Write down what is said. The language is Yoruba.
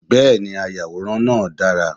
Bẹ́ẹ̀ni, ayàwòrán náà dára.